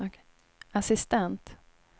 assistent